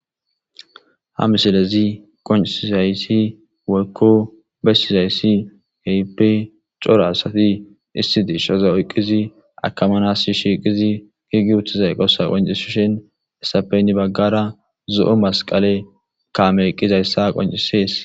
Ha missilezi qonc'isizaysi woyko besizaysi kehipe c'ora asati issi deshaza oyqidi akamanas shiqizi gigiutiza eqosa qonc'isishin hesape heni bagara zo'o masqale kamey eqizaysa qonc'ses.